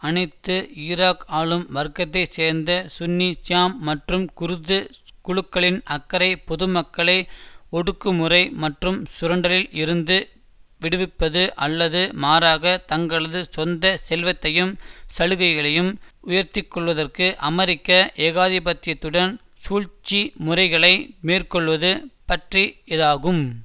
அனைத்து ஈராக் ஆளும் வர்க்கத்தை சேர்ந்த சுன்னி ஷியா மற்றும் குர்து குழுக்களின் அக்கறை பொதுமக்களை ஒடுக்குமுறை மற்றும் சுரண்டலில் இருந்து விடுவிப்பது அல்லது மாறாக தங்களது சொந்த செல்வத்தையும் சலுகைகளையும் உயர்த்திக்கொள்வதற்கு அமெரிக்க ஏகாதிபத்தியத்துடன் சூழ்ச்சிமுறைகளை மேற்கொள்வது பற்றி யதாகும்